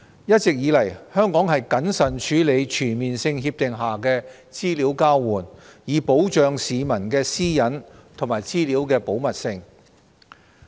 一直以來，香港謹慎處理全面性協定下的資料交換，以保障市民的私隱和資料的保密性。